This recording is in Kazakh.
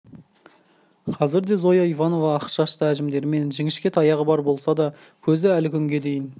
қазірде зоя ивановна ақ шашты әжімдері мен жіңішке таяғы бар болса да көзі әлі күнге дейін